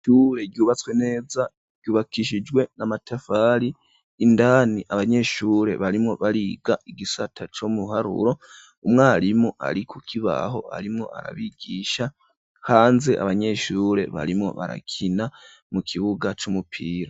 Ishure ryubatswe neza ryubakishijwe n'amafari indani abanyeshure barimwo bariga igisata ci ibiharuro umwarimu ari ku kibaho arimwo arabigisha hanze abanyeshure barimwo barakina mu kibuga c'umupira.